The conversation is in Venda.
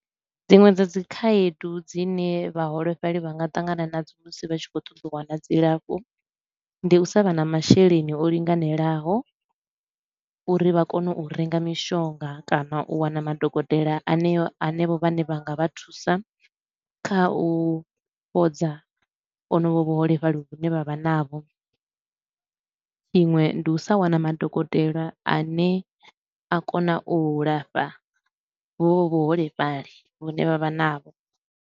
Dziṅwe dza dzi khaedu dzine vhaholefhali vha nga ṱangana nadzo musi vha tshi khou ṱoḓa u wana dzilafho, ndi u sa vha na masheleni o linganelaho uri vha kone u renga mishonga kana u wana madokotela aneo hanevho vhane vha nga vha thusa kha u fhodza honovho vhuholefhali vhane vha vha navho iṅwe ndi u sa wana madokotela a ne a kona u lafha honovho vhuholefhali vhane vha vha navho.